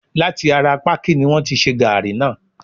láti ará pákí ni wọ́n ti ṣe gaàrí náà.